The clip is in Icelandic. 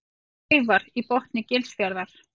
Kleifar í botni Gilsfjarðar.